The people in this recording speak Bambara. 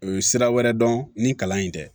U ye sira wɛrɛ dɔn ni kalan in tɛ